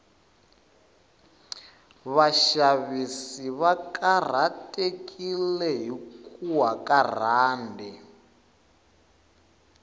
vashavisi vakarhatekile hhikuwa karand